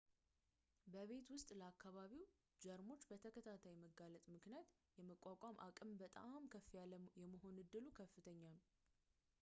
በቤት ውስጥ ለአከባቢው ጀርሞች በተከታታይ መጋለጥ ምክንያት የመቋቋም አቅም በጣም ከፍ ያለ የመሆን እድሉ ከፍተኛ ነው